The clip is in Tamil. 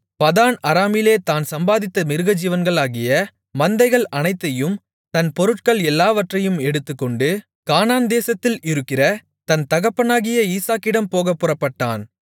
பதான் அராமிலே தான் சம்பாதித்த மிருகஜீவன்களாகிய மந்தைகள் அனைத்தையும் தன் பொருட்கள் எல்லாவற்றையும் எடுத்துக்கொண்டு கானான் தேசத்தில் இருக்கிற தன் தகப்பனாகிய ஈசாக்கிடம் போகப் புறப்பட்டான்